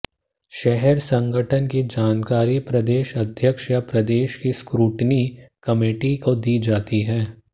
शहर संगठन की जानकारी प्रदेश अध्यक्ष या प्रदेश की स्क्रूटनी कमेटी को दी जाती है